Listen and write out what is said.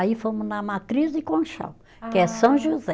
Aí fomos na Matriz de Conchal, que é São José.